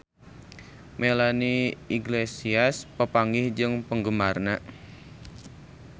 Melanie Iglesias papanggih jeung penggemarna